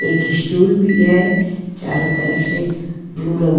एक स्टूल भी है चारों तरफ से ब्लू रंग--